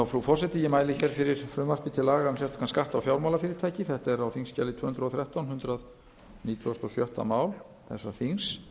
frú forseti ég mæli fyrir frumvarpi til laga um sérstakan skatt á fjármálafyrirtæki það er á þingskjali tvö hundruð og þrettán hundrað nítugasta og sjötta mál þessa þings